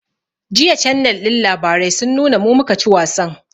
Jiya cannel ɗin labarai sun nuna mu, mu ka ci wasan